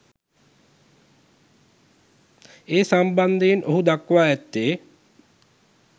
ඒ සම්බන්ධයෙන් ඔහු දක්වා ඇත්තේ